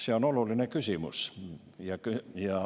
See on oluline küsimus.